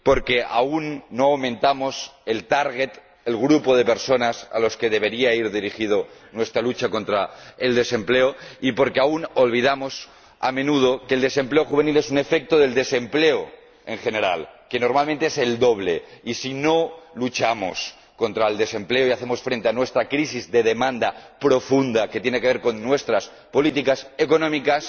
porque aún no aumentamos el target el grupo de personas a los que debería ir dirigida nuestra lucha contra el desempleo, y porque aún olvidamos, a menudo, que el desempleo juvenil es un efecto del desempleo en general, que normalmente es el doble. Y si no luchamos contra el desempleo y hacemos frente a nuestra crisis de demanda profunda, que tiene que ver con nuestras políticas económicas,